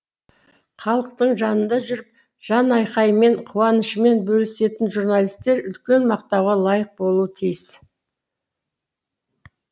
халықтың жанында жүріп жан айқайымен қуанышымен бөлісетін журналисттер үлкен мақтауға лайық болуы тиіс